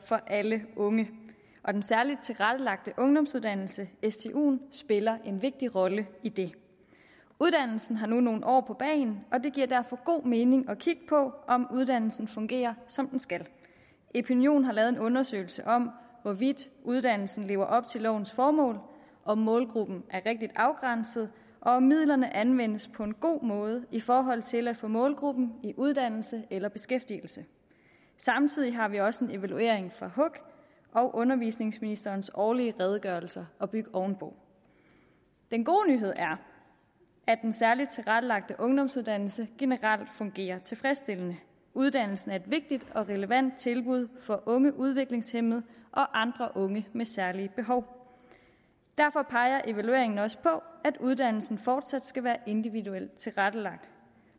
for alle unge og den særligt tilrettelagte ungdomsuddannelse stuen spiller en vigtig rolle i det uddannelsen har nu nogle år på bagen og det giver derfor god mening at kigge på om uddannelsen fungerer som den skal epinion har lavet en undersøgelse om hvorvidt uddannelsen lever op til lovens formål om målgruppen er rigtigt afgrænset og om midlerne anvendes på en god måde i forhold til at få målgruppen i uddannelse eller beskæftigelse samtidig har vi også en evaluering fra hug og undervisningsministerens årlige redegørelse at bygge ovenpå den gode nyhed er at den særligt tilrettelagte ungdomsuddannelse generelt fungerer tilfredsstillende uddannelsen er et vigtigt og relevant tilbud for unge udviklingshæmmede og andre unge med særlige behov derfor peger evalueringen også på at uddannelsen fortsat skal være individuelt tilrettelagt